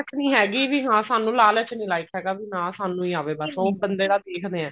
ਹੈਗੀ ਵੀ ਹਾਂ ਸਾਨੂੰ ਲਾਲਚ ਨਹੀਂ like ਹੈਗਾ ਵੀ ਹਾਂ ਸਾਨੂੰ ਹੀ ਆਵੇ ਉਹ ਬੰਦੇ ਦਾ ਦੇਖਦੇ ਨੇ